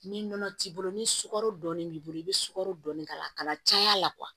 Ni nɔnɔ t'i bolo ni sukaro dɔɔni b'i bolo i be sukaro dɔɔni k'a la a kana caya la